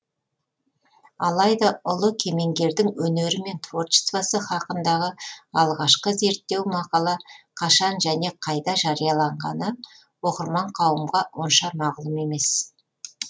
алайда ұлы кемеңгердің өнері мен творчествосы хақындағы алғашкы зерттеу мақала кашан және қайда жарияланғаны оқырман қауымға онша мағлұм емес